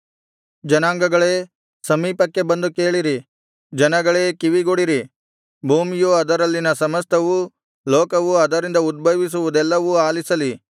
ಜನಾಂಗಗಳೇ ಸಮೀಪಕ್ಕೆ ಬಂದು ಕೇಳಿರಿ ಜನಗಳೇ ಕಿವಿಗೊಡಿರಿ ಭೂಮಿಯೂ ಅದರಲ್ಲಿನ ಸಮಸ್ತವೂ ಲೋಕವೂ ಅದರಿಂದ ಉದ್ಭವಿಸುವುದೆಲ್ಲವೂ ಆಲಿಸಲಿ